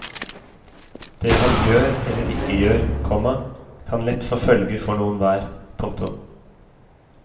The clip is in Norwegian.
Det han gjør eller ikke gjør, komma kan lett få følger for noen hver. punktum